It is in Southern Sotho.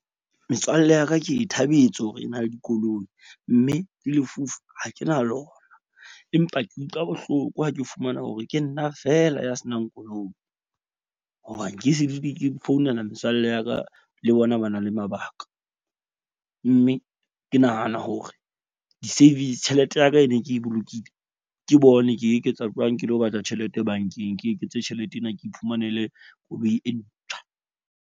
Metswalle ya ka ke e thabetse hore e na le dikoloi. Mme le lefufa ha ke na lona, empa ke utlwa bohloko ha ke fumana hore ke nna fela ya senang koloi. Hobane ke se dule ke founela metswalle ya ka. Le bona ba na le mabaka mme ke nahana hore di-savings tjhelete ya ka e ne ke bolokile. Ke bone ke eketsa jwang ke lo batla tjhelete bank-eng, ke eketse tjhelete ena. Ke iphumanele koloi e ntjha.